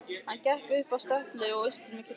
Hann gekk upp að stöpli og austur með kirkjunni.